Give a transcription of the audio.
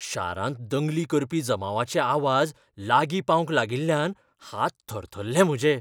शारांत दंगली करपी जमावाचे आवाज लागीं पावंक लागिल्ल्यान हात थरथरले म्हजे.